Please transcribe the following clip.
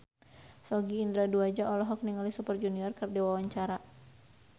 Sogi Indra Duaja olohok ningali Super Junior keur diwawancara